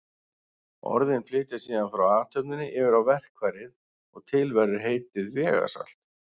Orðin flytjast síðan frá athöfninni yfir á verkfærið og til verður heitið vegasalt.